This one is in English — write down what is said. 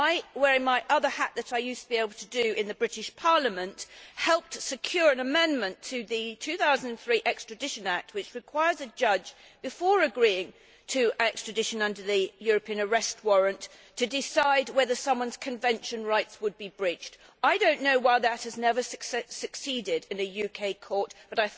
Wearing my other hat, which I used to be able to do in the British Parliament, helped secure an amendment to the 2003 Extradition Act, which requires the judge, before agreeing to extradition under the European Arrest Warrant, to decide whether someone's Convention rights would be breached. I do not know why that has never succeeded in a UK court but